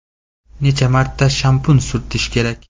Necha marta shampun surtish kerak?